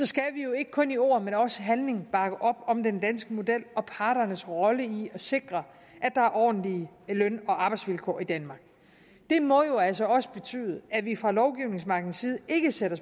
skal vi jo ikke kun i ord men også i handling bakke op om den danske model og parternes rolle i at sikre at der er ordentlige løn og arbejdsvilkår i danmark det må jo altså også betyde at vi fra lovgivningsmagtens side ikke sætter